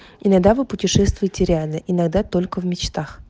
иногда вы путешествуете реально иногда только в мечтах